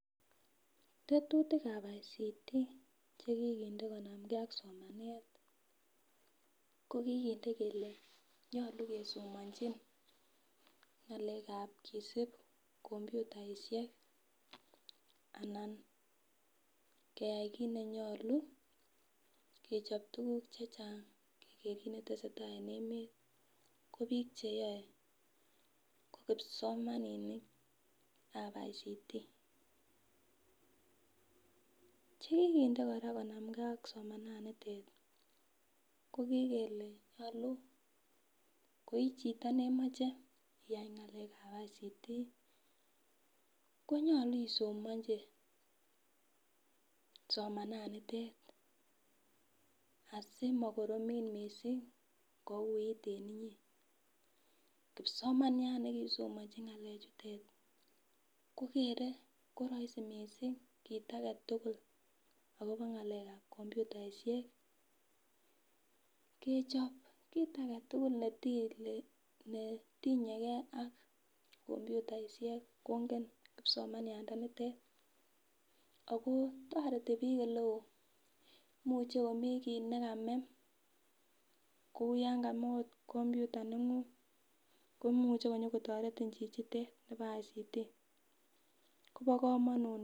Tetutik ab ICT chekiginde konamke ak somanet ii ko kikinde kole nyolu kesomanchin ng'alekab kisib komputaisiek anan keyai kiit nenyolu, kechob tuguk chechang chetesetai en emeet, ko biik cheyoe ko kipsomaninik ab ICT, chekiginde kora konamken ak somananitet kikikele nyolu koichito neimuche iyai ngalekab ICT ko nyolu isomonchi somananitet asimakoromit missing kouit en inyee, kipsomaniat nekiisomonchi ngalechutet ko kere ko roisi missing kiit agetugul akobo ngalekab computaisiek, kechob kiit agetugul netinyegee ak komputaisiek kongen kipsomanianotet ako toreti biik oleo, imuche komi kiit nekamee ,kou yan kamee ot komputer neng'ung komuche kotoretin chichitet nebo ICT ko bo komonut missing.